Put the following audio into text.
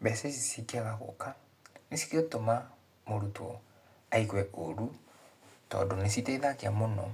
Mbeca ici cingĩaga gũka, nĩcigũtũma mũrutwo aigue ũru, tondũ nĩciteithagia mũno